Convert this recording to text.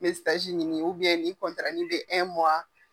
Ni bɛ saji ɲini ni kuntara